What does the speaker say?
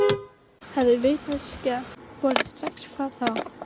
Hefði vitneskjan borist strax hvað þá?